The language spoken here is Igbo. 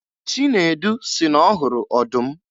Chinedu sị na ọ hụrụ ọdụm